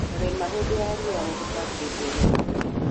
Rĩma hĩndĩ ya riũa na tũtambi nĩ tũgũkua